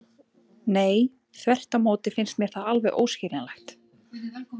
Nei, þvert á móti finnst mér það alveg óskiljanlegt.